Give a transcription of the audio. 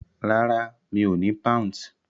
Rárá, mi ò ní Pounds.